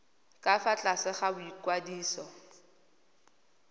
ka fa tlase ga boikwadiso